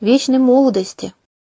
вечной молодости